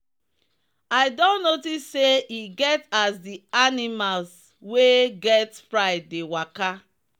i don notice say e get as the animlas wey get pride dey waka.